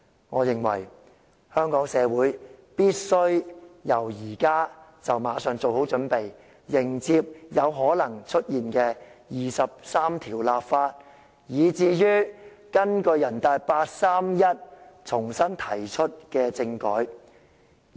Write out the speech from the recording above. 我認為，香港社會必須馬上做好準備，迎接有可能出現的就第二十三條立法，以及根據八三一決定重新提出的政改。